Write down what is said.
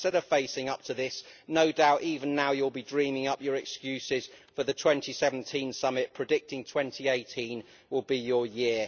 And instead of facing up to this, no doubt even now you will be dreaming up your excuses for the 2017 summit, predicting that 2018 will be your year.